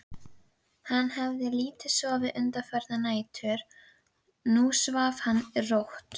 Hann hafði lítið sofið undanfarnar nætur, nú svaf hann rótt.